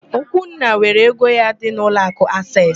Okwunna were ego ya dị n'ụlọakụ Aseesị.